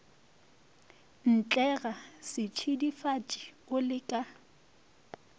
ntlega setšidifatši o le ka